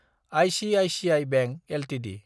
ICICI bank Ltd